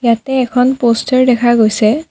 ইয়াতে এখন পোষ্টাৰ দেখা গৈছে।